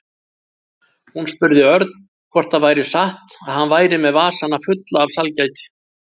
Hún spurði Örn hvort það væri satt að hann væri með vasana fulla af sælgæti.